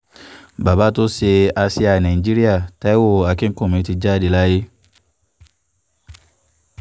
bàbá tó ṣe àsíá nàìjíríà taiwo akínkùnmí ti jáde láyé